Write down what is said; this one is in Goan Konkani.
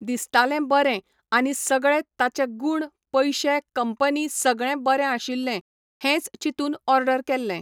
दिसतालें बरें, आनी सगळे ताचे गूण पयशें कंपनी सगळें बरें आशिल्लें, हेंच चिंतून ऑडर केल्लें.